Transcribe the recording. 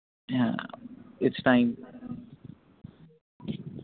হ্য়াঁ its time